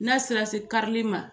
N'a sera se karili ma